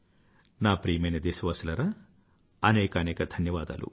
నా ప్రియమైన దేశవాసులారా అనేకానేక ధన్యవాదాలు